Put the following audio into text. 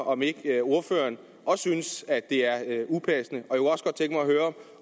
om ikke ordføreren også synes at det er upassende